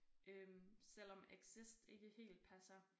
Øh selvom exist ikke helt passer